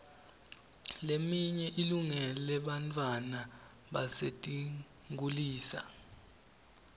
leminye ilungele bantfwana basetinkhulisa